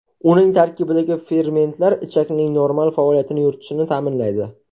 Uning tarkibidagi fermentlar ichakning normal faoliyat yuritishini ta’minlaydi.